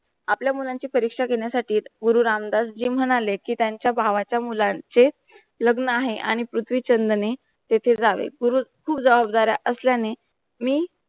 आपल्या मुलांची परीक्षा घेण्यासाठीत, गुरु रामदास जी म्हणाले कि त्यांचा भावाच्या मुलांचे लग्न आहे आणि पृथ्वीछंद ने तेथे जावे. पूर्व पूर जबाबदाऱ्या असल्यानी मी